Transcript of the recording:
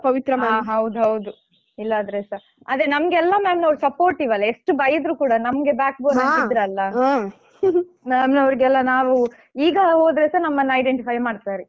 ಹಾ ಹೌದೌದು ಇಲ್ಲದ್ರೆಸಾ ಆದ್ರೆ ನಮ್ಗೆ ಎಲ್ಲಾ ma'am ನವರು supportive ವಲ್ಲ ಎಷ್ಟು ಬೈದ್ರು ಕೂಡ ನಮ್ಗೆ backbone ಆಗಿದ್ರಲ್ಲಾ ma'am ನವರಿಗೆಲ್ಲಾ ನಾವು ಈಗ ಹೋದ್ರೇಸ ನಮ್ಮನ್ನ identify ಮಾಡ್ತಾರೆ.